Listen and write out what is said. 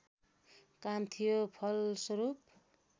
काम थियो फलस्वरूप